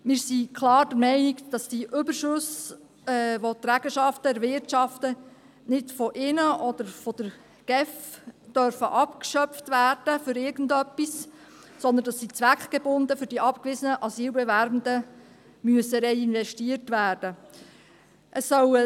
Wir sind klar der Meinung, dass die Überschüsse, welche die Trägerschaften erwirtschaften, weder von ihnen noch von der GEF für irgendeinen Zweck abgeschöpft werden dürfen, sondern dass sie zweckgebunden für die abgewiesenen Asylbewerbenden reinvestiert werden müssen.